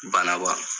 Banaba